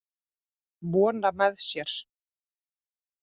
Vona með sér.